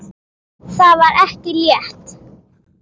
Það var ekki létt.